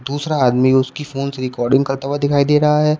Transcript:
दूसरा आदमी उसकी फोन रिकॉर्डिंग करता हुआ दिखाई दे रहा है।